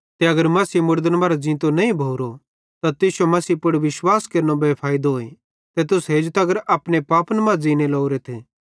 ते अगर मसीह मुड़दन मरां ज़ींतो नईं भोरो त तुश्शो मसीह पुड़ विश्वास भी बे फैइदोए ते तुस हेजू तगर अपने पापन मां ज़ींने लोरेथ